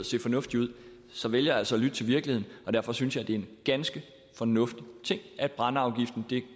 se fornuftigt ud så vælger jeg altså at lytte til virkeligheden derfor synes jeg det er en ganske fornuftig ting at brændeafgiften